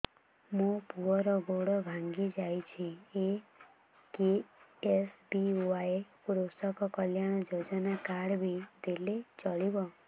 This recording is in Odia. ମୋ ପୁଅର ଗୋଡ଼ ଭାଙ୍ଗି ଯାଇଛି ଏ କେ.ଏସ୍.ବି.ୱାଇ କୃଷକ କଲ୍ୟାଣ ଯୋଜନା କାର୍ଡ ଟି ଦେଲେ ଚଳିବ